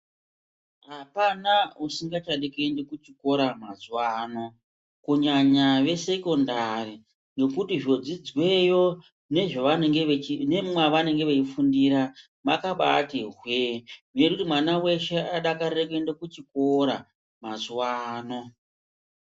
Hapana usingachade kuende kuchikora mazwano kunyanya vesecondary nokuti zvodzidzweyo nemwavanenge vachifundira mwakabatihwe nekuti mwana wese adakare kuenda kuchikora mazuwa ano.